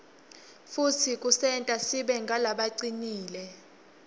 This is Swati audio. futsi kusenta sibe ngulabacinile